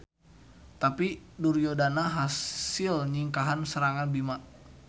Tapi Duryodana hasil nyingkahan serangan Bima.